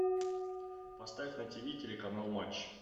поставь на тиви телеканал матч